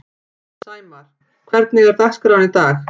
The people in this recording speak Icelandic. Sæmar, hvernig er dagskráin í dag?